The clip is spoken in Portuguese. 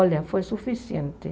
Olha, foi suficiente.